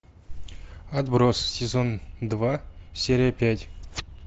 отбросы сезон два серия пять